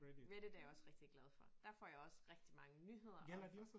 Reddit er jeg også rigtig glad for. Der får jeg også rigtig mange nyheder og jeg får